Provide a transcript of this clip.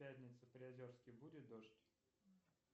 в пятницу в приозерске будет дождь